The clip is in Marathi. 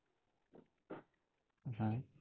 हम्म